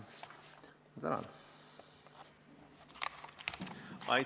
Ma tänan!